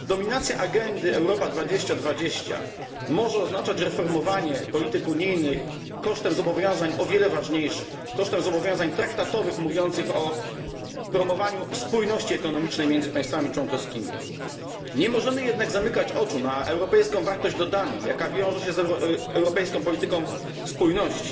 Dominacja agendy Europa 2020 może oznaczać reformowanie polityk unijnych kosztem zobowiązań o wiele ważniejszych kosztem zobowiązań traktatowych mówiących o promowaniu spójności ekonomicznej między państwami członkowskimi. Nie możemy jednak zamykać oczu na europejską wartość dodaną, która wiąże się z europejską polityką spójności.